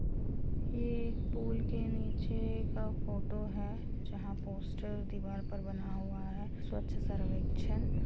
ये एक पुल के नीचे का फोटो है जहाँ पोस्टर दीवार पर बना हुआ हैं स्वच्छ सर्वेक्षण --